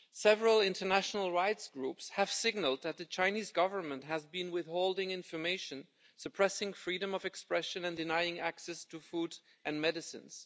Several international rights groups have signalled that the Chinese Government has been withholding information, suppressing freedom of expression and denying access to food and medicines.